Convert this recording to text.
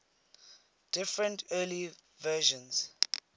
different early versions